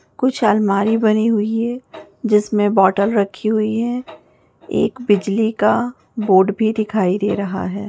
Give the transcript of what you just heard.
कुछ अलमारी बनी हुई है जिस में बॉटल रखी हुई है एक बिजली का बोर्ड भी दिखाई दे रहा है ।